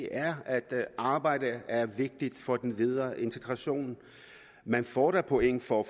er at arbejde er vigtigt for den videre integration man får da point for